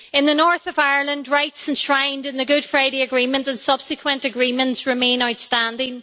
In the north of Ireland, rights enshrined in the Good Friday Agreement and subsequent agreements remain outstanding